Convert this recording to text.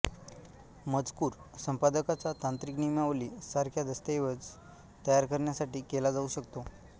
मजकूर संपादकाचा तांत्रिक नियमावली सारख्या दस्तऐवज तयार करण्यासाठी केला जाऊ शकतो